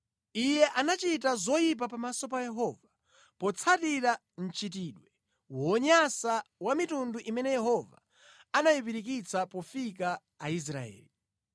Iye anachita zoyipa pamaso pa Yehova, potsatira mchitidwe wonyansa wa mitundu imene Yehova anayipirikitsa pofika Aisraeli.